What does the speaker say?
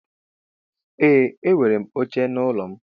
Ee enwerem oche na ụlọ mu.